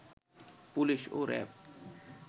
police ও RAB